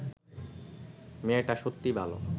মেয়েটা সত্যি ভাল